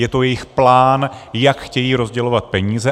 Je to jejich plán, jak chtějí rozdělovat peníze.